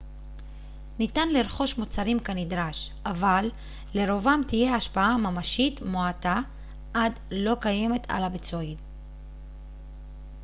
ניתן לרכוש מוצרים כנדרש אבל לרובם תהיה השפעה ממשית מועטה עד לא קיימת על הביצועים